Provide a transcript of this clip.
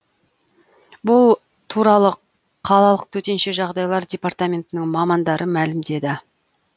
бұл туралы қалалық төтенше жағдайлар департаментінің мамандары мәлімдеді